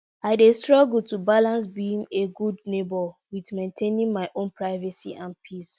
i dey struggle to balance being a a good neighbor with maintaining my own privacy and peace.